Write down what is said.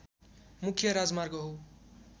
मुख्य राजमार्ग हो